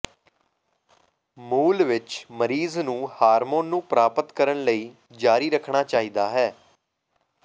ਮੂਲ ਵਿਚ ਮਰੀਜ਼ ਨੂੰ ਹਾਰਮੋਨ ਨੂੰ ਪ੍ਰਾਪਤ ਕਰਨ ਲਈ ਜਾਰੀ ਰੱਖਣਾ ਚਾਹੀਦਾ ਹੈ